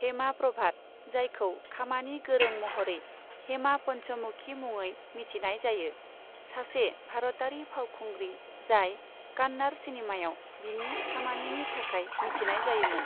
हेमा प्रभात, जायखौ खामानि गोरों महरै हेमा पन्चमुखी मुङै मिथिनाय जायो, सासे भारतारि फावखुंग्रि जाय कन्नड़ सिनेमायाव बिनि खामानिनि थाखाय मिथिनाय जायोमोन।